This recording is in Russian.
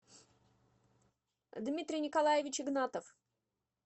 дмитрий николаевич игнатов